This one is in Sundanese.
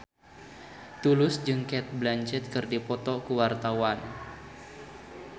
Tulus jeung Cate Blanchett keur dipoto ku wartawan